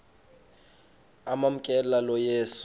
amamkela lo yesu